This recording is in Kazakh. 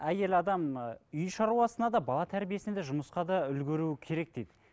әйел адам үй шаруасына да бала тәрбиесіне де жұмысқа да үлгеруі керек дейді